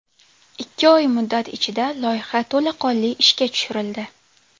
Ikki oy muddat ichida loyiha to‘laqonli ishga tushirildi.